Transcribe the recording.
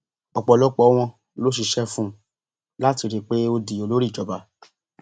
ọpọlọpọ wọn ló ṣiṣẹ fún un láti rí i pé ó di olórí ìjọba